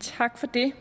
tak for det